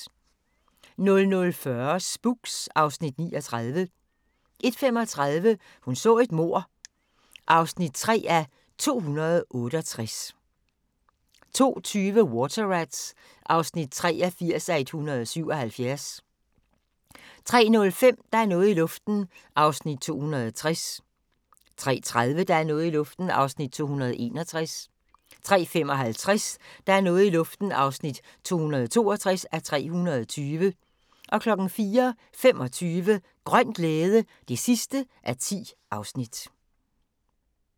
00:40: Spooks (Afs. 39) 01:35: Hun så et mord (3:268) 02:20: Water Rats (83:177) 03:05: Der er noget i luften (260:320) 03:30: Der er noget i luften (261:320) 03:55: Der er noget i luften (262:320) 04:25: Grøn glæde (10:10)